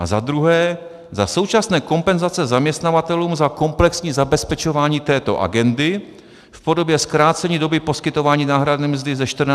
A za druhé - za současné kompenzace zaměstnavatelům za komplexní zabezpečování této agendy v podobě zkrácení doby poskytování náhrady mzdy ze 14 na 11 dní.